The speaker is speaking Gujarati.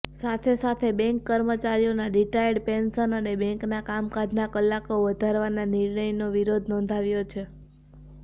સાથે સાથે બેંક કર્મચારીઓના રિટાયર્ડ પેનશન અને બેંકના કામકાજના કલાકો વધારવાના નિર્ણયનો વિરોધ નોંધાવ્યો છે